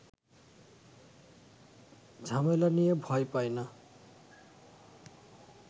ঝামেলা নিয়ে ভয় পায় না